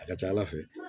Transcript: A ka ca ala fɛ